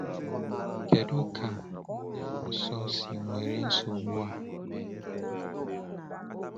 Kedu ka nne Nsọ si ewere nsogbu a mee?